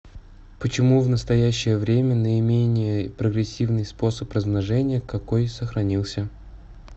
почему в настоящее время наименее прогрессивный способ размножения какой сохранился